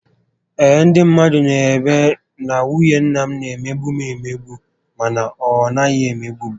Ee, ndị mmadụ n'ebe na nwunye nna m na emegbu m emegbu mana ọ naghị emegbu m